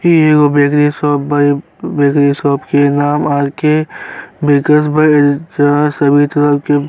इ एगो bakery shop बा। बेकरी शॉप के नाम आरके बेकर्स बा जहाँ सभी तरह के --